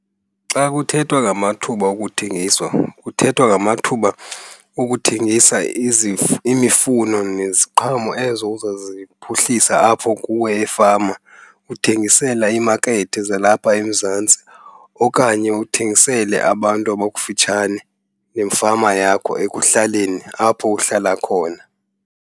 Xa kuthethwa ngamathuba okuthengiswa kuthethwa ngamathuba okuthengisa imifuno neziqhamo ezo uzaziphuhlisa apho kuwe efama. Uthengisela imakethi zalapha eMzantsi okanye uthengisele abantu abakufitshane nefama yakho ekuhlaleni apho uhlala khona.